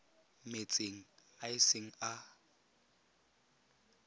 metsing a e seng a